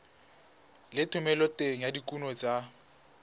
le thomeloteng ya dikuno tsa